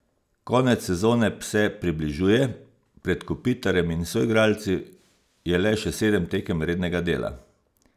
Konec sezone pse približuje, pred Kopitarjem in soigralci je le še sedem tekem rednega dela.